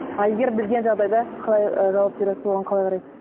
а егер білген жағдайда қалай ы жауап бересіз оған қалай қарайсыз